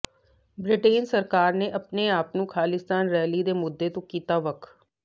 Britain ਸਰਕਾਰ ਨੇ ਆਪਣੇ ਆਪ ਨੂੰ ਖਾਲਿਸਤਾਨ ਰੈਲੀ ਦੇ ਮੁੱਦੇ ਤੋਂ ਕੀਤਾ ਵੱਖ